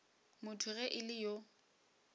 motho ge e le yo